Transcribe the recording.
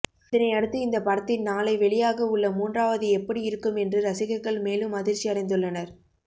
இதனை அடுத்து இந்த படத்தின் நாளை வெளியாக உள்ள மூன்றாவது எப்படி இருக்கும் என்று ரசிகர்கள் மேலும் அதிர்ச்சி அடைந்துள்ளனர்